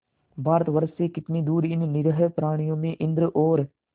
भारतवर्ष से कितनी दूर इन निरीह प्राणियों में इंद्र और